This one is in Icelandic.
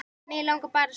Mig langar bara að sofa.